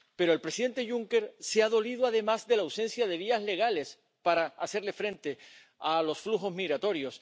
Pero el presidente Juncker se ha dolido, además, de la ausencia de vías legales para hacer frente a los flujos migratorios.